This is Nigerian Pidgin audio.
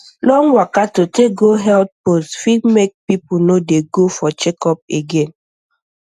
long waka to take go health post fit make people no dey go for checkup again